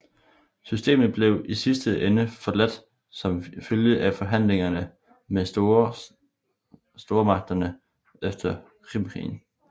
Systemet blev i sidste ende forladt som følge af forhandlinger med stormagterne efter Krimkrigen